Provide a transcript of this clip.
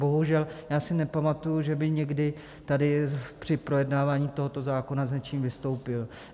Bohužel, já si nepamatuji, že by někdy tady při projednávání tohoto zákona s něčím vystoupil.